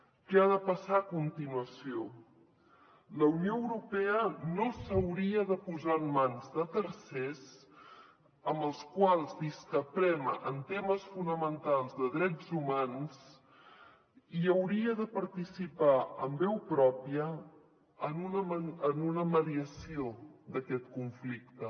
què ha de passar a continuació la unió europea no s’hauria de posar en mans de tercers amb els quals discrepem en temes fonamentals de drets humans i hauria de participar amb veu pròpia en una mediació d’aquest conflicte